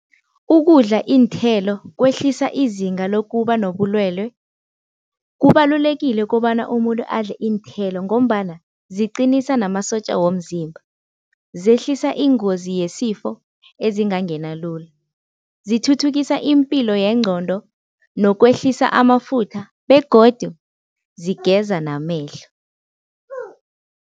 Ukudla iinthelo kwehlisa izinga lokuba nobulwelwe. Kubalulekile kobana umuntu adle iinthelo ngombana ziqinisa namasotja womzimba, zehlisa ingozi yesifo ezingangena lula, zithuthukisa iimpilo yengcondo nokwehlisa amafutha begodu zigeza namehlo.